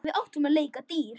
Við áttum að leika dýr.